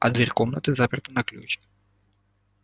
а дверь комнаты заперта на ключ